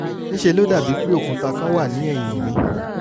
ní í ṣe ló dàbí pé òkúta kan wà ní ẹ̀yìn mi